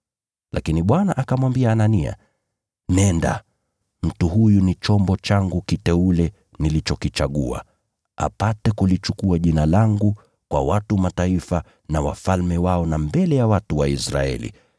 Lakini Bwana akamwambia Anania, “Nenda! Mtu huyu ni chombo changu kiteule nilichokichagua, apate kulichukua Jina langu kwa watu wa Mataifa na wafalme wao na mbele ya watu wa Israeli.